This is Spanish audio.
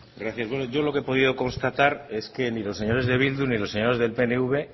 gracias bueno yo lo que he podido constatar es que ni los señores de bildu ni los señores del pnv